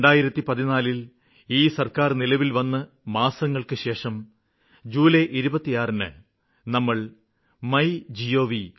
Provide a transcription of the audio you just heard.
2014ല് ഈ സര്ക്കാര് നിലവില്വന്ന് മാസങ്ങള്ക്കുശേഷം ജൂലൈ 26ന് നമ്മള് മൈ ഗോവ്